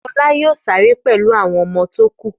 Fọlá yóò sáré pẹ̀lú àwọn ọmọ tó kù.